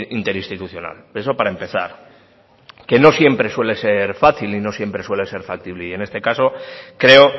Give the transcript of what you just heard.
interinstitucional eso para empezar que no siempre suele ser fácil y no siempre suele ser factible y en este caso creo